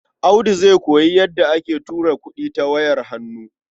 Audu zai koyi yadda ake tura kuɗi ta wayar hannu.